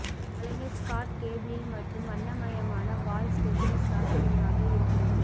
கலைஞர் Scott கோபிளில் மற்றும் வண்ணமயமான வால் ஸ்டேபிள்ஸ் ஆச்சரியமாக இருக்கிறது